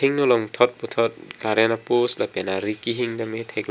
athengno along thot puthot current apost lapen ari kehing tame theklong.